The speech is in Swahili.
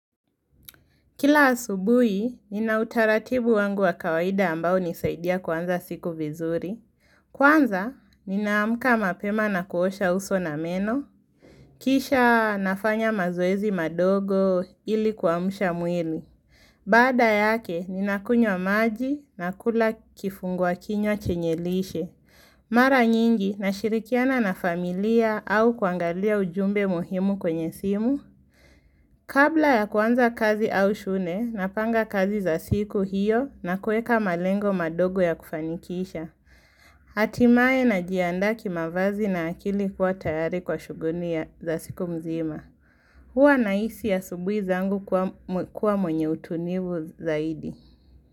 Kila asubui, nina utaratibu wangu wa kawaida ambao hunisaidia kuanza siku vizuri. Kwanza, ninaamuka mapema na kuosha uso na meno. Kisha nafanya mazoezi madogo ili kuamsha mwili. Baada yake, ninakunywa maji nakula kifungwakinywa chenye lishe. Mara nyingi nashirikiana na familia au kuangalia ujumbe muhimu kwenye simu. Kabla ya kuanza kazi au shune, napanga kazi za siku hiyo na kueka malengo madogo ya kufanikisha Hatimaye najiandaa kimavazi na akili kuwa tayari kwa shuguli za siku mzima Hua na hisi asubui zangu kuwa mwenye utunivu zaidi.